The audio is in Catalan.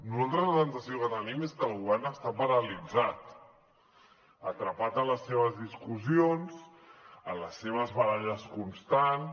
nosaltres la sensació que tenim és que el govern està paralitzat atrapat en les seves discussions en les seves baralles constants